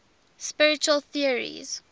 spiritual theories